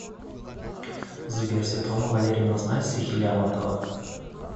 сбер светлана валерьевна знает стихи лермонтова